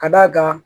Ka d'a kan